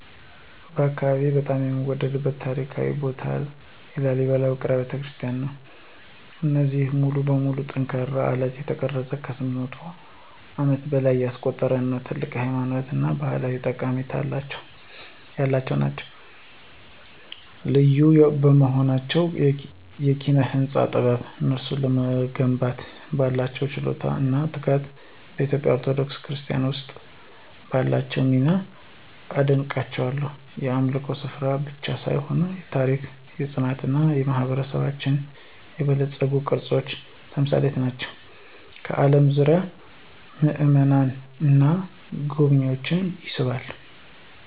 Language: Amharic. በአካባቢዬ በጣም የምወደድበት ታሪካዊ ቦታ የላሊበላ ውቅር አብያተ ክርስቲያናት ነው። እነዚህ ሙሉ በሙሉ ከጠንካራ አለት የተቀረጹት ከ800 ዓመታት በላይ ያስቆጠሩ እና ትልቅ ሃይማኖታዊ እና ባህላዊ ጠቀሜታ ያላቸው ናቸው። ልዩ በሆነው የኪነ-ህንፃ ጥበብ፣ እነሱን ለመገንባት ባለው ችሎታ እና ትጋት፣ በኢትዮጵያ ኦርቶዶክስ ክርስትና ውስጥ ባላቸው ሚና አደንቃቸዋለሁ። የአምልኮ ስፍራዎች ብቻ ሳይሆኑ የታሪክ፣ የፅናት እና የማህበረሰባችን የበለፀጉ ቅርሶች ተምሳሌት ናቸው፣ ከአለም ዙሪያ ምእመናንን እና ጎብኝዎችን ይስባሉ።